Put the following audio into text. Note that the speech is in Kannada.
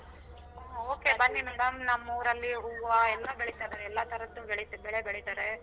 ಓ okay ಬನ್ನಿ madam ನಮ್ಮೂರಲ್ಲಿ ಹೂವ ಎಲ್ಲಾ ಬೆಳಿತಾರೆ ಎಲ್ಲಾ ತರದ್ದು ಬೆಳಿ ಬೆಳೆ ಬೆಳಿತಾರೆ.